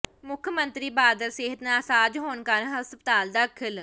ਮੁੱਖ ਮੰਤਰੀ ਬਾਦਲ ਸਿਹਤ ਨਾਸਾਜ ਹੋਣ ਕਾਰਨ ਹਸਪਤਾਲ ਦਾਖਲ